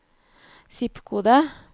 zip-kode